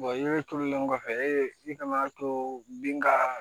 turulen kɔfɛ e kana to bin ka